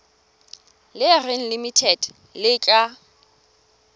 le reng limited le tla